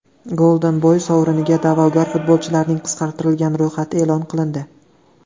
Golden Boy sovriniga da’vogar futbolchilarning qisqartirilgan ro‘yxati e’lon qilindi.